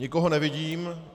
Nikoho nevidím.